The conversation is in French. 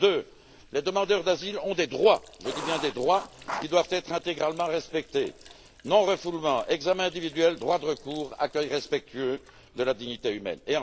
Deux, les demandeurs d'asile ont des droits, je dis bien des droits, qui doivent être intégralement respectés non refoulement, examen individuel, droit de recours, accueil respectueux de la dignité humaine.